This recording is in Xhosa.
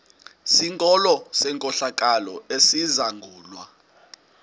sikolo senkohlakalo esizangulwa